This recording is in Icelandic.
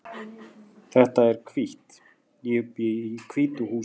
Þetta hús er hvítt. Ég bý í hvítu húsi.